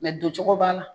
don cogo b'a la